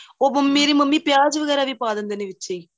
ਉਹ ਮੇਰੀ ਮੰਮੀ ਪਿਆਂਜ ਵਗੇਰਾ ਪਾਂ ਦਿੰਦੇ ਨੇ ਵਿਚੇ ਹੀ